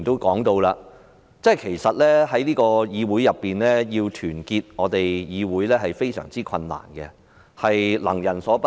剛才石禮謙議員提到要團結議會是非常困難的事，亦是能人所不能。